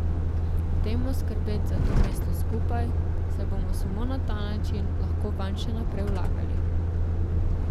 Dajmo skrbeti za to mesto skupaj, saj bomo samo na ta način lahko vanj še naprej vlagali.